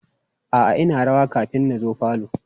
A'a ina rawa kafin na zo falo.